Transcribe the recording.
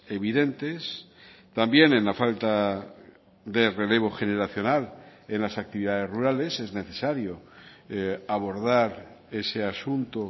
evidentes también en la falta de relevo generacional en las actividades rurales es necesario abordar ese asunto